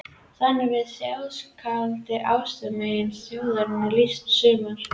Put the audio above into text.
Þannig var þjóðskáldi og ástmegi þjóðarinnar lýst sumarið